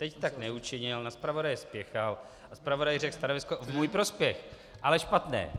Teď tak neučinil, na zpravodaje spěchal a zpravodaj řekl stanovisko v můj prospěch, ale špatné.